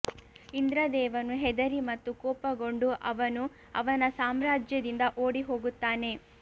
ಇಂದ್ರ ದೇವನು ಹೆದರಿ ಮತ್ತು ಕೋಪಗೊಂಡು ಅವನು ಅವನ ಸಾಮ್ರಾಜ್ಯದಿಂದ ಓಡಿಹೋಗುತ್ತಾನೆ